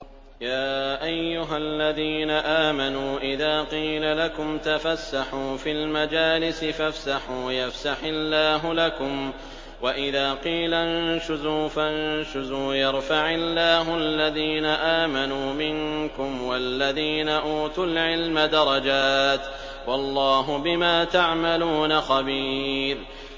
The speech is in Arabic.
يَا أَيُّهَا الَّذِينَ آمَنُوا إِذَا قِيلَ لَكُمْ تَفَسَّحُوا فِي الْمَجَالِسِ فَافْسَحُوا يَفْسَحِ اللَّهُ لَكُمْ ۖ وَإِذَا قِيلَ انشُزُوا فَانشُزُوا يَرْفَعِ اللَّهُ الَّذِينَ آمَنُوا مِنكُمْ وَالَّذِينَ أُوتُوا الْعِلْمَ دَرَجَاتٍ ۚ وَاللَّهُ بِمَا تَعْمَلُونَ خَبِيرٌ